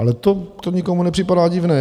Ale to nikomu nepřipadá divné.